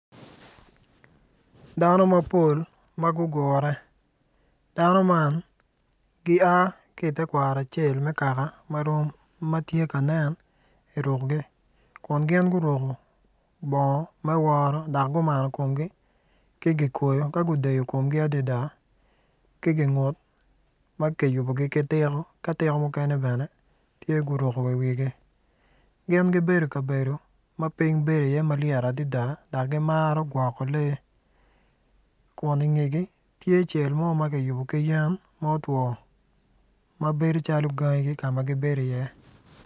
Dano mapol ma gugure dano man gia ki i tekwaro acel ma tye ka nen kun gin guruko bongo me woro kit ma tye ka nen ki i bongo ma guruku ki kikoyi ki gin maguruko ki tiko ma guruko i wigi piny bedo iye malyet adada.